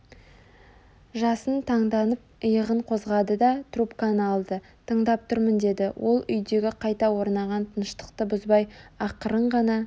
жасын таңданып иығын қозғады да трубканы алды тыңдап тұрмын деді ол үйдегі қайта орнаған тыныштықты бұзбай ақырын ғана